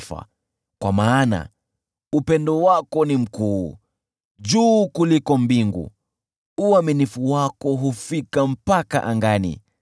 Kwa maana upendo wako ni mkuu, ni juu kuliko mbingu; uaminifu wako unazifikia anga.